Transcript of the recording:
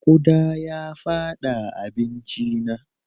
Ƙuda ya fada abincina.